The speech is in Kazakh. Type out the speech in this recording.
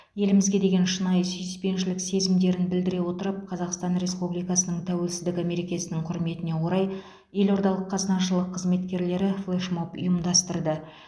елімізге деген шынайы сүйіспеншілік сезімдерін білдіре отырып қазақстан республикасының тәуелсіздігі мерекесінің құрметіне орай елордалық қазынашылық қызметкерлері флешмоб ұйымдастырды